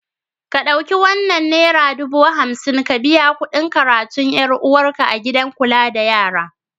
Ka ɗauki wannan nera dubu hamsin ka biya kuɗin karatun ‘yar uwarka a gidan kula da yara.